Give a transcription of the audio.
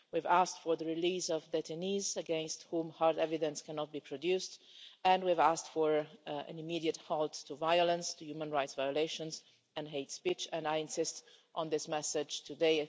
We've asked for the release of detainees against whom hard evidence cannot be produced, and we have asked for an immediate halt to violence, to human rights violations and hate speech, and I insist on this message today.